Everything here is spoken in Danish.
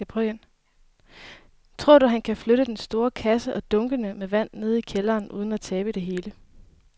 Tror du, at han kan flytte den store kasse og dunkene med vand ned i kælderen uden at tabe det hele?